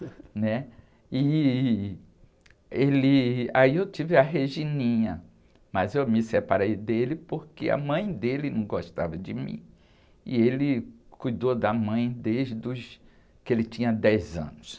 né? E, ele, aí eu tive a Regininha, mas eu me separei dele porque a mãe dele não gostava de mim e ele cuidou da mãe desde os, que ele tinha dez anos.